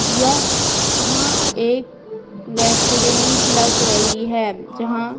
य हाँ एक रेस्टोरेंट लग रही है जहाँ--